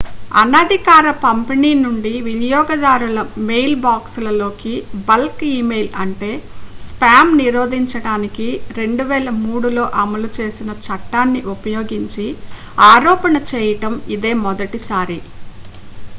అనధికార పంపిణీ నుండి వినియోగదారుల మెయిల్బాక్స్ల లోకి బల్క్ ఇమెయిల్ అంటే స్పామ్ నిరోధించడానికి 2003లో అమలు చేసిన చట్టాన్ని ఉపయోగించి ఆరోపణ చేయడం ఇదే మొదటిసారి